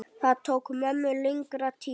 Það tók mömmu lengri tíma.